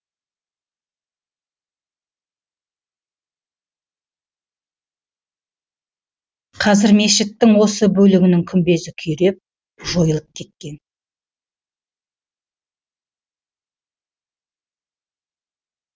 қазір мешіттің осы бөлігінің күмбезі күйреп жойылып кеткен